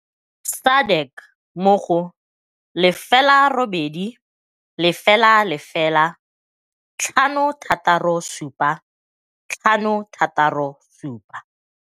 SADAG mo go 0800 567 567.